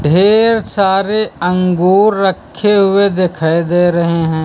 ढेर सारे अंगूर रखे हुए दिखाई दे रहे हैं।